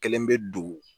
Kelen bɛ don